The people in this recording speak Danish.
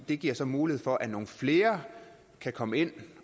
det giver så mulighed for at nogle flere kan komme ind